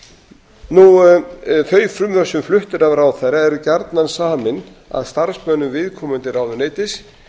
myndinni af alþingismönnum þau frumvörp sem flutt eru af ráðherra eru gjarnan samin af starfsmönnum viðkomandi ráðuneytis